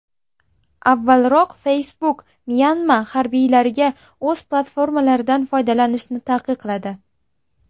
Avvalroq Facebook Myanma harbiylariga o‘z platformalaridan foydalanishni taqiqladi .